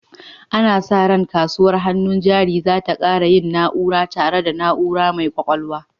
Ana sa ran kasuwar hannun jari za ta ƙara yin na'ura, tare da na'ura mai ƙwaƙwalwa.